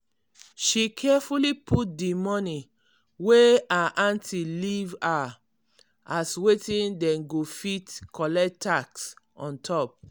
she carefully put di money wey her auntie leave her as wetim dem go fit collect tax on top.